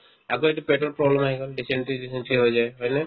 আকৌ এইটো পেটত problem আহি গ'ল dysentery চিচেন্ত্ৰী হৈ যায় হয় নে ?